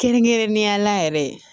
Kɛrɛnkɛrɛnnenya la yɛrɛ